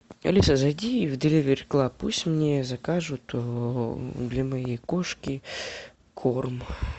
алиса зайди в деливери клаб пусть мне закажут для моей кошки корм